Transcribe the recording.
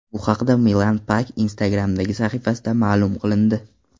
Bu haqda Milana Pak Instagram’dagi sahifasida ma’lum qilindi.